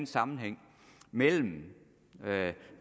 sammenhæng mellem